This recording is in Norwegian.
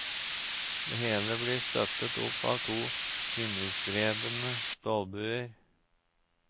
Det hele blir støttet opp av to himmelstrebende stålbuer.